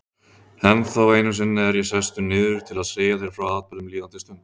Ennþá einu sinni er ég sestur niður til að segja þér frá atburðum líðandi stundar.